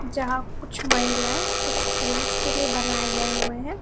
जहां कुछ महिलाएं कुछ पूरष के लिए बनाया गए हुए है।